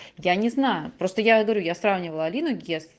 я не знаю просто я говорю я сравнивала алину гес